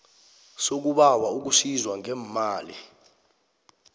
sokubawa ukusizwa ngeemali